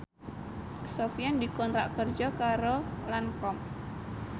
Sofyan dikontrak kerja karo Lancome